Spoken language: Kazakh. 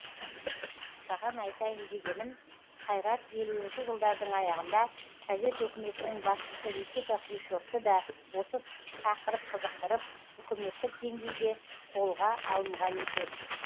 саған айтайын дегенім қайрат елуінші жылдардың аяғында совет өкіметінің басшысы никита хрущевты да осы тақырып қызықтырып үкіметтік деңгейде қолға алынған екен